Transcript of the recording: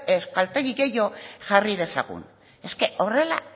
euskaltegi gehiago jarri dezagun es que horrela